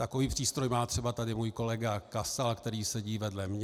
Takový přístroj má třeba tady můj kolega Kasal, který sedí vedle mě.